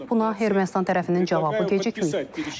Buna Ermənistan tərəfinin cavabı gecikməyib.